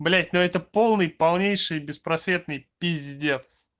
блять но это полный полнейший беспросветный пиздец